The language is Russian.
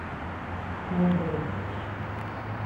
шнайдере